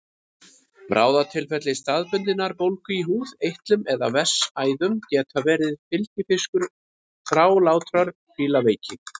Bráðatilfelli staðbundinnar bólgu í húð, eitlum eða vessaæðum geta verið fylgifiskur þrálátrar fílaveiki.